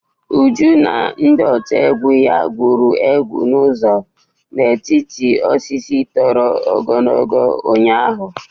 Uju na ndị otu egwu ya gwuru egwu nzuzo n'etiti osisi toro ogologo ụnyaahụ.